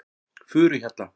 Furuhjalla